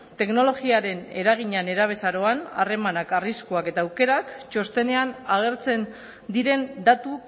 teknologiaren eragina nerabezaroan harremanak arriskuak eta aukerak txostenean agertzen diren datu